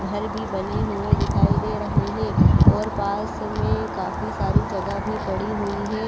घर भी बने हुए दिखाई दे रहे हैं और पास में काफी सारी जगह भी पड़ी हुई है।